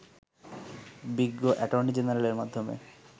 বিজ্ঞ অ্যাটর্নি জেনারেলের মাধ্যমে